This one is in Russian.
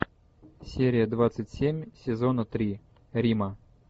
серия двадцать семь сезона три рима